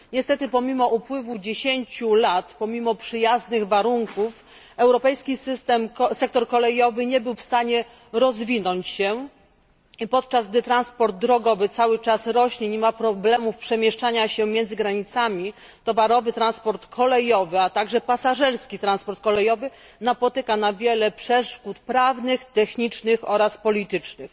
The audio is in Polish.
Niestety, pomimo upływu 10 lat, pomimo przyjaznych warunków, europejski sektor kolejowy nie był w stanie się rozwinąć. Podczas gdy transport drogowy cały czas rośnie, nie ma problemów z przemieszczaniem się między granicami, towarowy transport kolejowy, a także pasażerski transport kolejowy napotyka na wiele przeszkód prawnych, technicznych oraz politycznych.